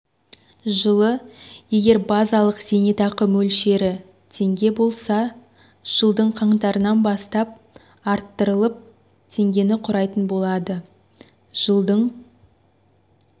жылы егер базалық зейнетақы мөлшері теңге болса жылдың қаңтарынан бастап арттырылып теңгені құрайтын болады жылдың